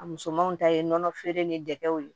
A musomanw ta ye nɔnɔ feere ni dɛgɛw ye